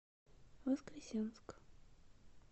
воскресенск